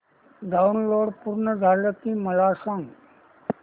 download पूर्ण झालं की मला सांग